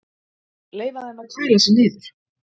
Leyfa þeim að kæla sig niður